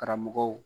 Karamɔgɔw